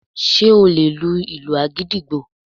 Ṣé o lè lu ìlù agidigbo